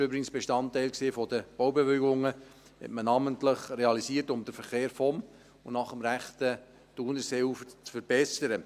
dieses war übrigens Bestandteil der Baubewilligungen – hat man namentlich realisiert, um den Verkehr vom und nach dem rechten Thunerseeufer zu verbessern.